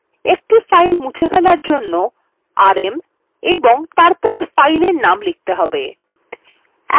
একটি file মুছে ফেলার জন্য rm এবং তারপর file name লিখতে হবে